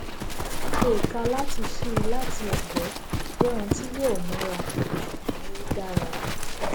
lílo ìka láti ṣíi láti ègbé jé ohun tí yóò móra ṣùgbón ó dára